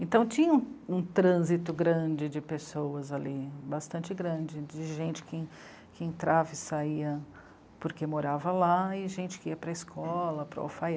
Então, tinha um trânsito grande de pessoas ali, bastante grande, de gente que, que entrava e saía porque morava lá, e gente que ia para a escola, para o